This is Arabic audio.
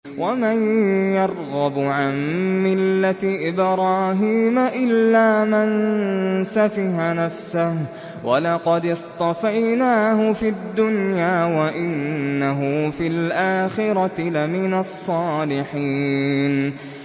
وَمَن يَرْغَبُ عَن مِّلَّةِ إِبْرَاهِيمَ إِلَّا مَن سَفِهَ نَفْسَهُ ۚ وَلَقَدِ اصْطَفَيْنَاهُ فِي الدُّنْيَا ۖ وَإِنَّهُ فِي الْآخِرَةِ لَمِنَ الصَّالِحِينَ